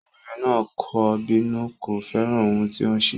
Obìnrin náà kò bínú, kò fẹ́ràn ohun tí o ṣe.